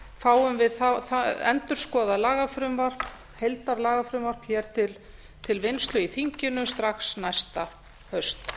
fáum við endurskoðað lagafrumvarp heildarlagafrumvarp hér til vinnslu í þinginu strax næsta haust